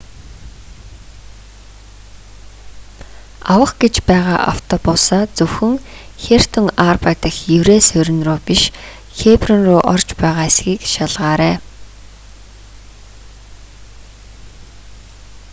авах гэж байгаа автобусаа зөвхөн хертон арба дахь еврей суурин руу биш хеброн руу орж байгаа эсэхийг шалгаарай